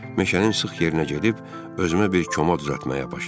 Meşənin sıx yerinə gedib özümə bir koma düzəltməyə başladım.